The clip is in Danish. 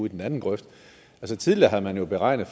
i den anden grøft tidligere har man beregnet